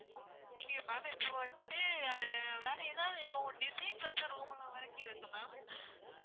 okay ma'am இப்போ வந்துட்டு வேற எதாவது இப்போ design வச்சு room லாம் இருக்கு ma'am